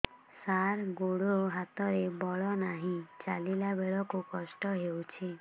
ସାର ଗୋଡୋ ହାତରେ ବଳ ନାହିଁ ଚାଲିଲା ବେଳକୁ କଷ୍ଟ ହେଉଛି